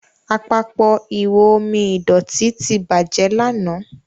Àpapọ̀ ihò omi ìdọ̀tító tí bàjé lànà.